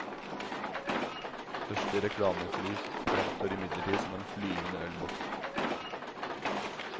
Første reklamefly fremstår imidlertid som en flyvende ølboks.